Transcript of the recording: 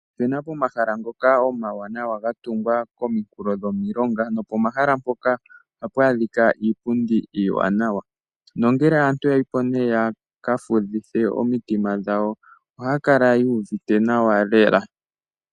Opena pomahala mpoka omawanawa ga tungwa pominkulo dhomilonga ,nopomahala mpoka ohapu adhika iipundi iiwanawa. Nongele aantu yayipo nee yaka fudhithe omitima dhawo ohaya kala yu uvite nawa lela .